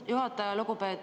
Hea juhataja!